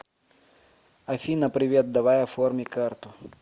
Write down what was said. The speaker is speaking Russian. афина привет давай оформи карту